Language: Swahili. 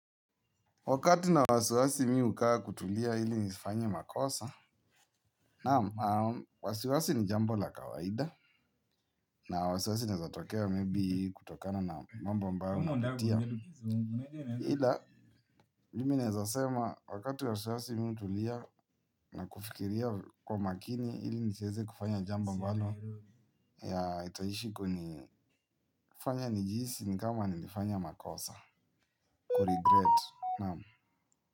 Wakati nina wasiwasi mimi hukaa kutulia ili nisifanye makosa. Naam, wasiwasi ni jambo la kawaida. Na wasiwasi inaeza tokea maybe kutokana na mambo ambayo unapitia ila, mimi naeza sema wakati wa wasiwasi mimi hutulia na kufikiria kwa makini ili nisieze kufanya jambo ambalo ya itaishi kunifanya nijihisi ni kama nimefanya makosa Kuregret, naam.